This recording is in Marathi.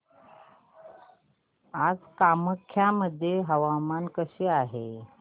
आज कामाख्या मध्ये हवामान कसे आहे